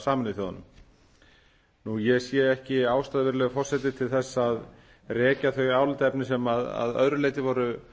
sameinuðu þjóðunum ég sé ekki ástæðu virðulegi forseti til þess að rekja þau álitaefni sem að öðru leyti voru